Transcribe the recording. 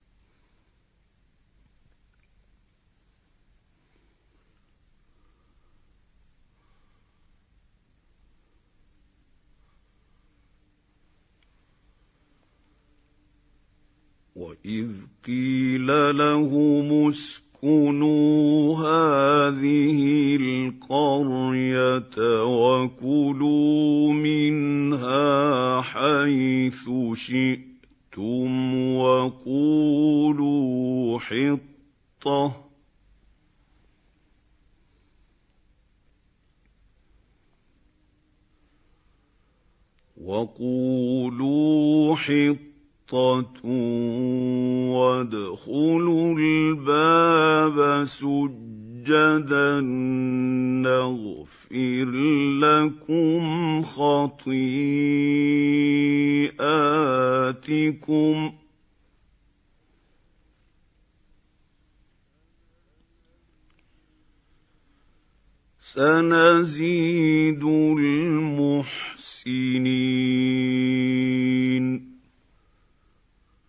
وَإِذْ قِيلَ لَهُمُ اسْكُنُوا هَٰذِهِ الْقَرْيَةَ وَكُلُوا مِنْهَا حَيْثُ شِئْتُمْ وَقُولُوا حِطَّةٌ وَادْخُلُوا الْبَابَ سُجَّدًا نَّغْفِرْ لَكُمْ خَطِيئَاتِكُمْ ۚ سَنَزِيدُ الْمُحْسِنِينَ